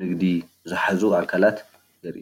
ንግዲ ዝሓዙ ኣካላት ንርኢ።